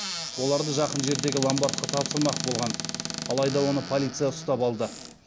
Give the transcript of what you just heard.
оларды жақын жердегі ломбардқа тапсырмақ болған алайда оны полиция ұстап алды